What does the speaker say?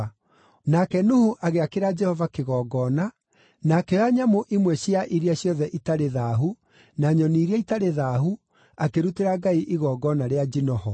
Nake Nuhu agĩakĩra Jehova kĩgongona, na akĩoya nyamũ imwe cia iria ciothe itarĩ thaahu, na nyoni iria itarĩ thaahu, akĩrutĩra Ngai igongona rĩa njino ho.